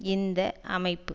இந்த அமைப்பு